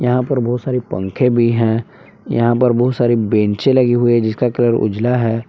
यहां पर बहुत सारी पंखे भी हैं यहां पर बहुत सारी बैंच से लगी हुई है जिसका कलर उजला है ।